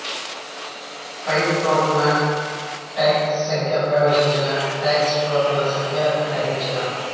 ఫై ఫోటాన్ల టెక్స్ట్ సంఖ్య ప్రవేసించే టెక్స్ట్ ఫోటాన్ల సంఖ్య గ్రహించిన